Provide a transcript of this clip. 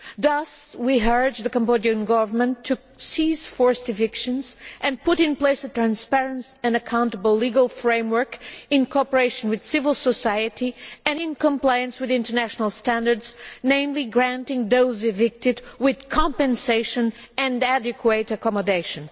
Thus, we urge the Cambodian Government to cease forced evictions and put in place a transparent and accountable legal framework in cooperation with civil society and in compliance with international standards, namely granting those evicted compensation and adequate accommodation.